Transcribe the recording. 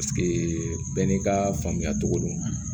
bɛɛ n'i ka faamuya cogo don